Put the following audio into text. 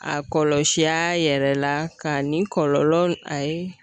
A kɔlɔsi a yɛrɛ la, ka ni kɔlɔlɔ , a ye